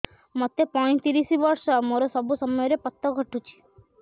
ମୋତେ ପଇଂତିରିଶ ବର୍ଷ ମୋର ସବୁ ସମୟରେ ପତ ଘଟୁଛି